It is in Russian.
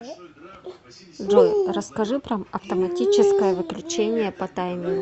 джой расскажи про автоматическое выключение по таймеру